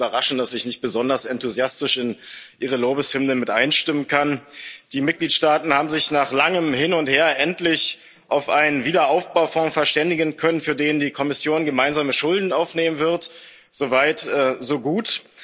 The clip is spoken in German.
Es wird Sie nicht überraschen, dass ich nicht besonders enthusiastisch in Ihre Lobeshymnen mit einstimmen kann. Die Mitgliedstaaten haben sich nach langem Hin und Her endlich auf einen Aufbaufonds verständigen können, für den die Kommission gemeinsame Schulden aufnehmen wird so weit, so gut.